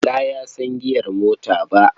Bala ya san giyar mota ba.